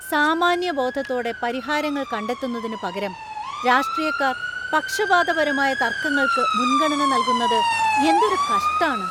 സാമാന്യബോധത്തോടെ പരിഹാരങ്ങൾ കണ്ടെത്തുന്നതിന് പകരം രാഷ്ട്രീയക്കാർ പക്ഷപാതപരമായ തർക്കങ്ങൾക്ക് മുൻഗണന നൽകുന്നത് എന്തൊരു കഷ്ടാണ്‌.